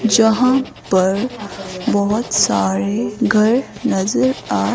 जहां पर बहुत सारे घर नजर और--